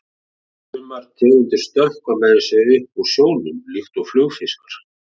Sumar tegundir stökkva meira að segja upp úr sjónum, líkt og flugfiskar.